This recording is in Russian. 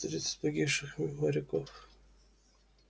тридцать погибших моряков